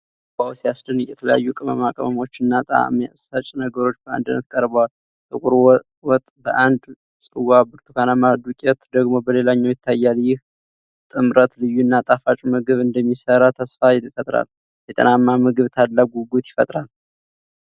ዋው ሲያስደንቅ! የተለያዩ ቅመማ ቅመሞች እና ጣዕም ሰጪ ነገሮች በአንድነት ቀርበዋል። ጥቁር ወጥ በአንድ ጽዋ፣ ብርቱካናማ ዱቄት ደግሞ በሌላው ይታያል። ይህ ጥምረት ልዩና ጣፋጭ ምግብ እንደሚሰራ ተስፋ ይፈጥራል። ለጤናማ ምግብ ታላቅ ጉጉት ይፈጥራል።